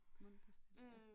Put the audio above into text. Mundpastiller